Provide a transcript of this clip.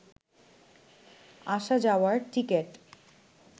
আসা যাওয়ার টিকিট